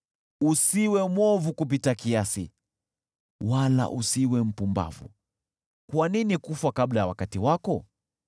Usiwe mwovu kupita kiasi, wala usiwe mpumbavu: kwa nini kufa kabla ya wakati wako?